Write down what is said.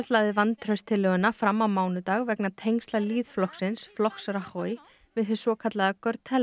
lagði vantrauststillöguna fram á mánudag vegna tengsla flokks flokks Rajoy við hið svokallaða